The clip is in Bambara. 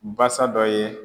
Basa dɔ ye